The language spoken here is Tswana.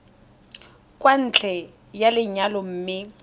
kwa ntle ga lenyalo mme